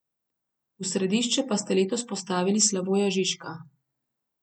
V središče pa ste letos postavili Slavoja Žižka.